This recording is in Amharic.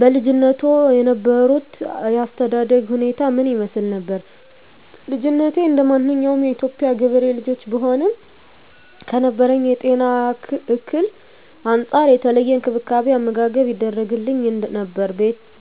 በልጅነትዎ የነበሮት የአስተዳደግ ሁኔታ ምን ይመስል ነበር? ልጅነቴ እንደማንኛውም የኢትዮጵያ ገበሬ ልጆች ብሆንም ከነበረብኝ የጤና እክል አንፃር የተለየ እንክብካቤ አመጋገብ ይደረግግልኝ ነበር